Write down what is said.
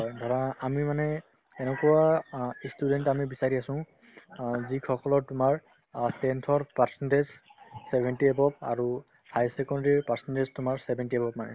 ধৰা আমি মানে এনেকুৱা অ ই student আমি বিচাৰি আছো অ যিসকলৰ তোমাৰ অ tenth ৰ percentage seventy above আৰু high secondary ৰ percentage তোমাৰ seventy above মানে